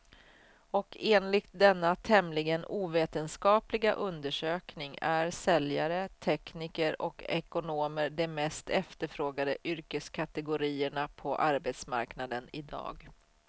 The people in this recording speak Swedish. Och enligt denna tämligen ovetenskapliga undersökning är säljare, tekniker och ekonomer de mest efterfrågade yrkeskategorierna på arbetsmarknaden i dag.